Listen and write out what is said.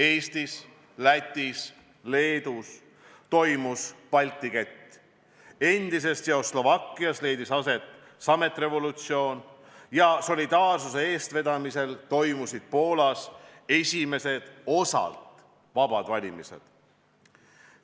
Eestis, Lätis ja Leedus toimus Balti kett, endises Tšehhoslovakkias leidis aset sametrevolutsioon ja Solidaarsuse eestvedamisel toimusid Poolas esimesed osalt vabad valimised.